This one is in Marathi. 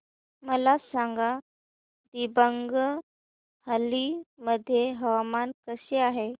मला सांगा दिबांग व्हॅली मध्ये हवामान कसे आहे